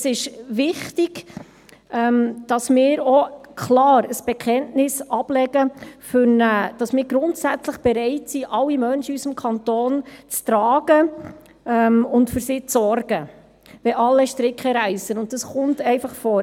Es ist wichtig, dass wir grundsätzlich bereit sind, alle Menschen in unserem Kanton zu tragen und für sie zu sorgen, wenn alle Stricke reissen, und so etwas kommt einfach vor.